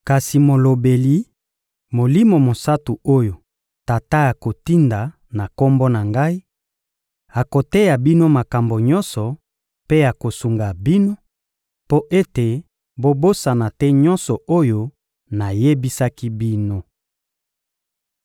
Kasi Molobeli, Molimo Mosantu oyo Tata akotinda na Kombo na Ngai, akoteya bino makambo nyonso mpe akosunga bino mpo ete bobosana te nyonso oyo nayebisaki bino.